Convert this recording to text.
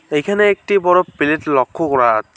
এইখানে একটি বড়ো প্লেট লক্ষ্য করা আছ --